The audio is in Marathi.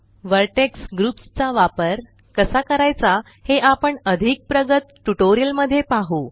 व्हर्टेक्स ग्रुप्स चा वापर कसा करायचा हे आपण अधिक प्रगत ट्यूटोरियल मध्ये पाहु